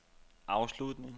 afslutning